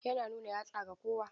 Yana nuna yatsa ga kowa.